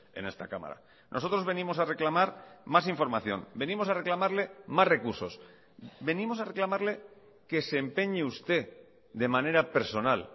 en esta cámara nosotros venimos a reclamar más información venimos a reclamarle más recursos venimos a reclamarle que se empeñe usted de manera personal